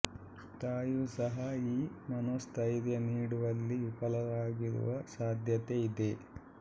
ತಾಯಿಯೂ ಸಹ ಈ ಮನೋಸ್ಥೈರ್ಯ ನೀಡುವಲ್ಲಿ ವಿಫಲವಾಗಿರುವ ಸಾಧ್ಯತೆ ಇದೆ